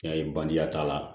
I y'a ye bange t'a la